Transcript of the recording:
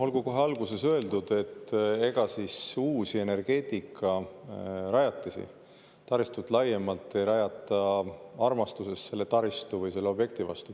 Olgu kohe alguses öeldud, et ega siis uusi energeetikarajatisi, laiemalt uut taristut ei rajata armastusest selle taristu või nende objektide vastu.